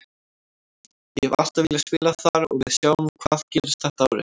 Ég hef alltaf viljað spila þar og við sjáum hvað gerist þetta árið.